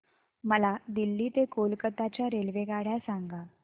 मला दिल्ली ते कोलकता च्या रेल्वेगाड्या सांगा